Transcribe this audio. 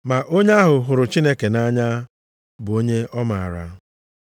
Ma onye ahụ hụrụ Chineke nʼanya bụ onye ọ maara.